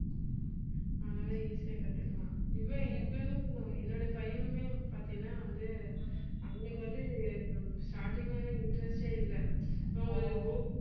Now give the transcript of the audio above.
அதனால easy யா கத்துக்கலாம். இவன் இவனும் என்னோட பையனுமே பார்த்தீங்கனா வந்து அவனுக்கு வந்து ஹம் starting ல எல்லாம் interest ஏ இல்ல இவன் ஒரு